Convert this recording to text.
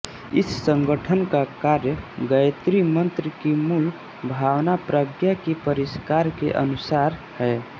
इस संगठन का कार्य गायत्री मंत्र की मूल भावना प्रज्ञा का परिष्कार के अनुसार है